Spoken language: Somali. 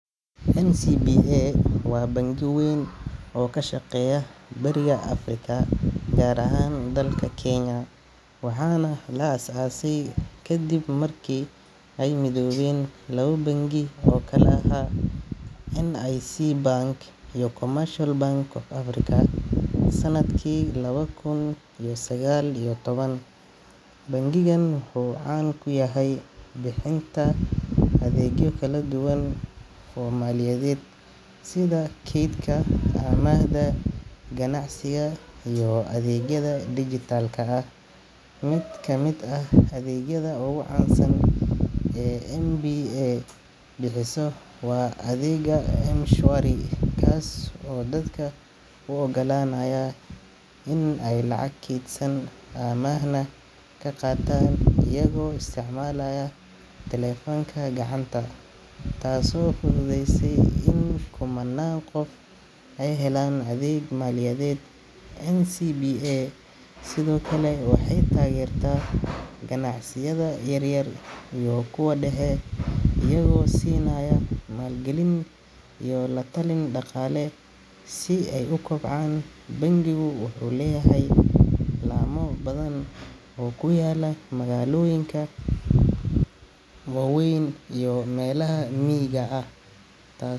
NCBA waa bangi weyn oo ka shaqeeya bariga Afrika, gaar ahaan dalka Kenya, waxaana la aasaasay kadib markii ay midoobeen labo bangi oo kala ahaa NIC Bank iyo Commercial Bank of Africa sanadkii laba kun iyo sagaal iyo toban. Bangigan wuxuu caan ku yahay bixinta adeegyo kala duwan oo maaliyadeed sida kaydka, amaahda, ganacsiga, iyo adeegyada dhijitaalka ah. Mid ka mid ah adeegyada ugu caansan ee NCBA bixiso waa adeegga M-Shwari, kaas oo dadka u oggolaanaya in ay lacag keydsadaan amaahna ka qaataan iyagoo isticmaalaya taleefanka gacanta, taasoo fududeysay in kumannaan qof ay helaan adeeg maaliyadeed. NCBA sidoo kale waxay taageertaa ganacsiyada yaryar iyo kuwa dhexe, iyagoo siinaya maalgelin iyo la-talin dhaqaale si ay u kobcaan. Bangigu wuxuu leeyahay laamo badan oo ku yaalla magaalooyinka waaweyn iyo meelaha miyiga ah, taa.